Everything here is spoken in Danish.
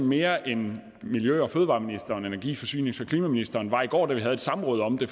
mere end miljø og fødevareministeren og energi forsynings og klimaministeren var i går da vi havde et samråd om det